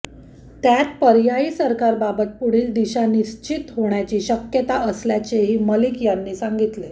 त्यात पर्यायी सरकारबाबत पुढील दिशा निश्चित होण्याची शक्यता असल्याचेही मलिक यांनी सांगितले